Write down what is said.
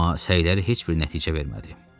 Amma səyləri heç bir nəticə vermədi.